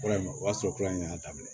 Fura in o y'a sɔrɔ kura in y'a daminɛ